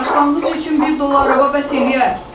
Başlanğıc üçün bir dula araba bəs eləyər.